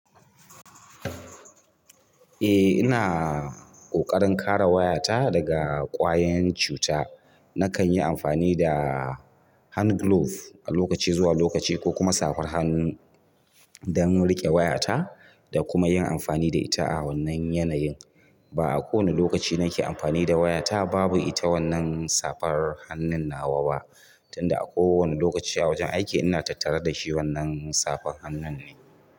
Eh ina ƙoƙarin kare wayata daga ƙwayoyin cuta. Nakan yi amfani da hand gloves a lokaci zuwa lokaci ko kuma safar hannun don riƙe wayata da kuma yin amfani da ita a wannan yanayin. Ba a kowane lokaci nake amfani da wayata babu ita wannan safar hannun nawa ba, tunda a kowane lokaci a wajen aiki ina tattara da shi wannan safar hannun ne.